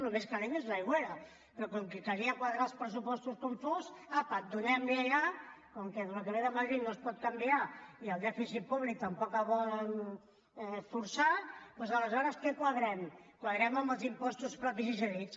el més calent és a l’aigüera però com que calia quadrar els pressupostos com fos apa donemli allà com que el que ve de madrid no es pot canviar i el dèficit públic tampoc el volen forçar doncs aleshores què quadrem quadrem amb els impostos propis i cedits